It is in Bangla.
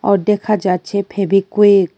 অর দেখা যাচ্ছে ফেবিকুইক ।